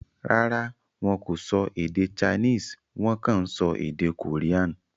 Rárá, wọn kò sọ èdè Chinese; Wọ́n kàn ń sọ èdè Korean.